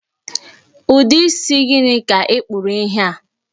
Ụdị isi gịnị ka ị kpụrụ ihe a?